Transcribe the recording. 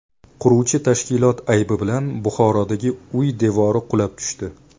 Quruvchi tashkilot aybi bilan Buxorodagi uy devori qulab tushdi.